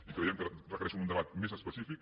i creiem que requereixen un debat més específic